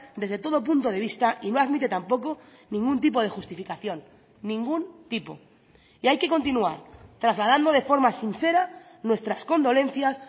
desde todo punto de vista y no admite tampoco ningún tipo de justificación ningún tipo y hay que continuar trasladando de forma sincera nuestras condolencias